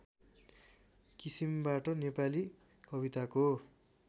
किसिमबाट नेपाली कविताको